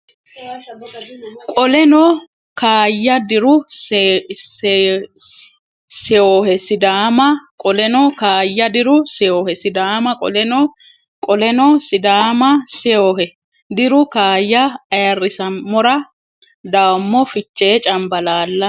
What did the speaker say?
Qoleno kaayya diru seyohe Sidaama Qoleno kaayya diru seyohe Sidaama Qoleno Qoleno Sidaama seyohe diru kaayya Ayirrisammora dawoommo Fichee Cambalaalla !